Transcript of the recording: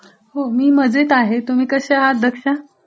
हो मी मजेत आहे, तुम्ही कश्या आहात दक्षा.